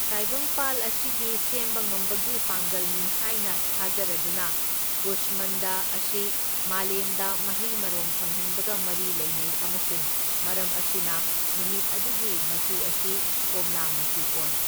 ꯇꯥꯏꯕꯪꯄꯥꯜ ꯑꯁꯤꯒꯤ ꯁꯦꯝꯕ ꯉꯝꯕꯒꯤ ꯄꯥꯡꯒꯜꯅꯤ ꯍꯥꯏꯅ ꯊꯥꯖꯔꯗꯨꯅ, ꯀꯨꯁꯃꯟꯗ ꯑꯁꯤ ꯃꯥꯂꯦꯝꯗ ꯃꯍꯩ ꯃꯔꯣꯡ ꯐꯪꯍꯟꯕꯒ ꯃꯔꯤ ꯂꯩꯅꯩ ꯑꯃꯁꯨꯡ ꯃꯔꯝ ꯑꯁꯤꯅ, ꯅꯨꯃꯤꯠ ꯑꯗꯨꯒꯤ ꯃꯆꯨ ꯑꯁꯤ ꯀꯣꯝꯂꯥ ꯃꯆꯨ ꯑꯣꯏ꯫